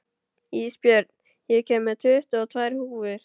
Ísbjörn, ég kom með tuttugu og tvær húfur!